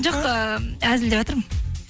жоқ ыыы әзілдеватырмын